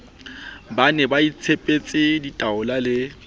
ba ne baitshepetse ditaola le